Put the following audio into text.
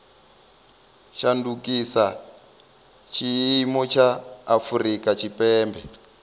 shandukisa tshiimo tsha afurika tshipembe